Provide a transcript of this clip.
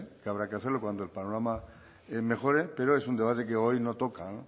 que habrá que hacerlo cuando el panorama mejore pero es un debate que hoy no toca